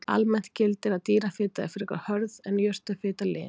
Almennt gildir að dýrafita er frekar hörð en jurtafita lin.